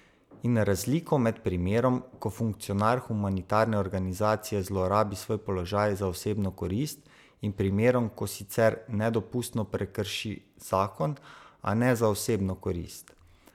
In razliko med primerom, ko funkcionar humanitarne organizacije zlorabi svoj položaj za osebno korist, in primerom, ko sicer nedopustno prekrši zakon, a ne za osebno korist.